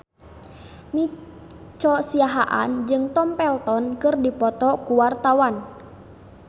Nico Siahaan jeung Tom Felton keur dipoto ku wartawan